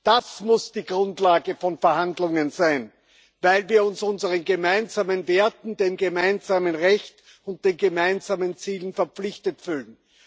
Das muss die Grundlage von Verhandlungen sein, weil wir uns unseren gemeinsamen Werten, dem gemeinsamen Recht und den gemeinsamen Zielen verpflichtet fühlen.